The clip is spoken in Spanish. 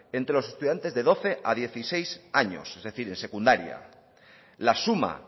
entre los estudiantes de doce a dieciséis años es decir en secundaria la suma